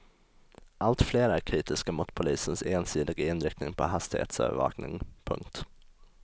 Allt fler är kritiska mot polisens ensidiga inriktning på hastighetsövervakning. punkt